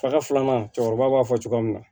Faga filanan cɛkɔrɔba b'a fɔ cogoya min na